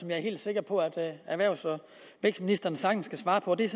jeg er helt sikker på at erhvervs og vækstministeren sagtens kan svare på der